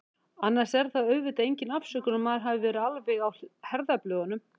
Annars er það auðvitað engin afsökun að maður hafi verið alveg á herðablöðunum.